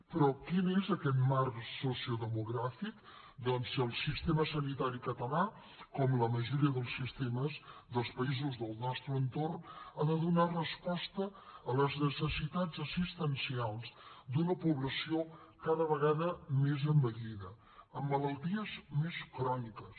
però quin és aquest marc sociodemogràfic doncs el sistema sanitari català com la majoria dels sistemes dels països del nostre entorn ha de donar resposta a les necessitats assistencials d’una població cada vegada més envellida amb malalties més cròniques